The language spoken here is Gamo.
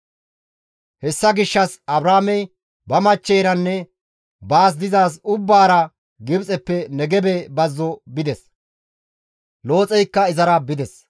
Hessa gishshas Abraamey ba machcheyranne baas dizaaz ubbaara Gibxeppe Negebe bazzo bides; Looxeykka izara bides.